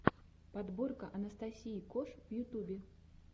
подборка анастасии кош в ютубе